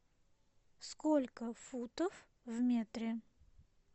сколько футов в метре